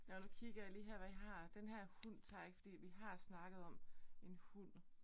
Nåh nu kigger jeg lige her hvad jeg har. Den her hund tager jeg ikke fordi vi har snakket om en hund